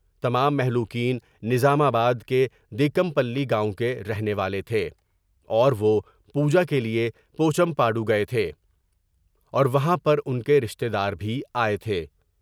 تمام مہلوکین نظام آباد کے دیم پلی گاؤں کے رہنے والے تھے اور وہ پوجا کیلئے پو چم پاڈو گئے تھے اور وہاں پر ان کے رشتہ دار بھی آئے تھے ۔